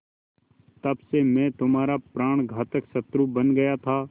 तब से मैं तुम्हारा प्राणघातक शत्रु बन गया था